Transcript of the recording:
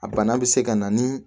A bana bɛ se ka na ni